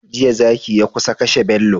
Jiya zaki ya kusa kashe bello